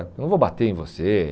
Eu não vou bater em você.